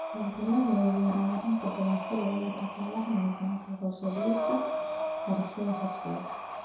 Hawlgallada waaweyn ayaa inta badan ku lug leh dhaqaalaha miisaanka, hoos u dhigista kharashka cutubkiiba.